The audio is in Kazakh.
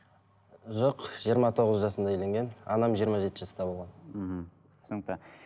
жоқ жиырма тоғыз жасында үйленген анам жиырма жеті жаста болған мхм түсінікті